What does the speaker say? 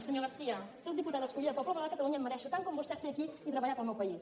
senyor garcía sóc diputada escollida pel poble de catalunya i em mereixo tant com vostè estar aquí i treballar per al meu país